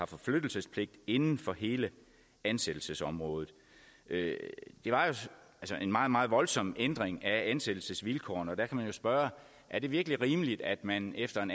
forflyttelsespligt inden for hele ansættelsesområdet det var jo en meget meget voldsom ændring af ansættelsesvilkårene og der kan man spørge er det virkelig rimeligt at man efter en